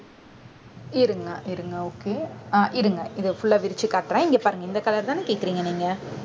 இருங்க இருங்க okay அஹ் இருங்க. இதை full ஆ விரிச்சு காட்டுறேன். இங்கே பாருங்க இந்த color தானே கேக்குறீங்க நீங்க